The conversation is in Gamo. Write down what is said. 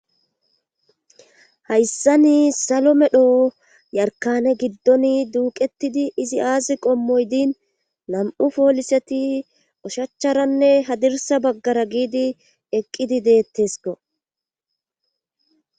hayssani salomedhoo yarkane giddoni Duuqetidi izi aazi qommoydin nam7u fooliseti oshachcharanne hadirsa baggara giidi eqqidi deettesko